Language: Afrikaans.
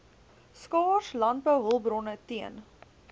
skaars landbouhulpbronne teen